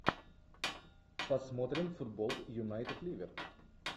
посмотрим футбол юнайтед ливер